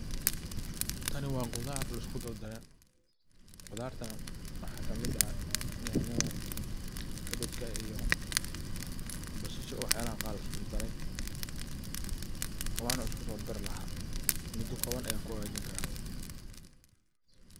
Tani waa khudar laisku dardare. Khudartana waxa ka mid ah yanyada, kabajka, iyo basasha iyo wax yalo kale oo laisku daro ,waana isku sodadari laha mudo koban ayan kuhagajiya.